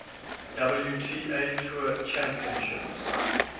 wta tour championships